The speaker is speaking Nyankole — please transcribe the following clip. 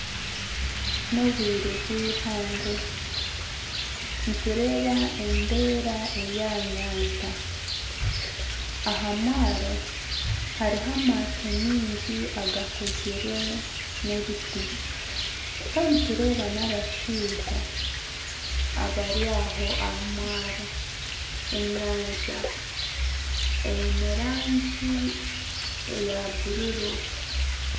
Ni obwire bwihangwe. Nitureeba embeera eri aha nyanja aha mwaaro hariho amaato mingi agakozirwe n'ebiti Kandi nitureeba na abashaija abari aho aha mwaaro. Enyanja eine rangi eya bururu.